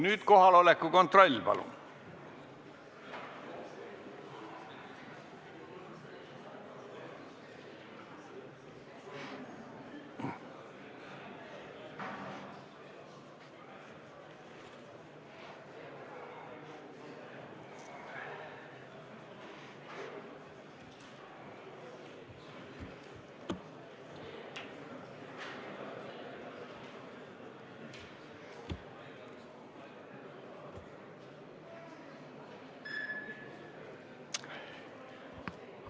Nüüd kohaloleku kontroll, palun!